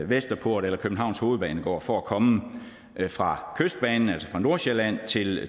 vesterport eller københavns hovedbanegård for at komme fra kystbanen altså fra nordsjælland til